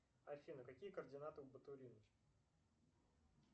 афина какие координаты у батурин